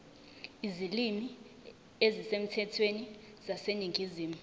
izilimi ezisemthethweni zaseningizimu